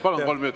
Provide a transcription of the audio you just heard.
Palun!